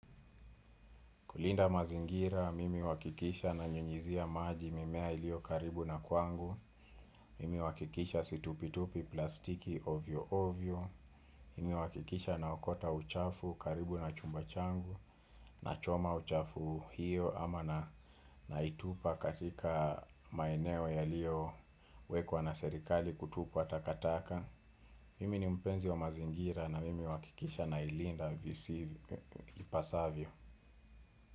Kulinda mazingira, mimi huwakikisha na nyunyizia maji, mimea ilio karibu na kwangu, mimi huwakikisha situpitupi plastiki ovyo ovyo, mimi huwakikisha naokota uchafu karibu na chumbachangu, na choma uchafu hiyo ama na naitupa katika maeneo yaliyo wekwa na serikali kutupwa takataka. Mimi ni mpenzi wa mazingira na mimi huwakikisha na ilinda visi ipasavyo.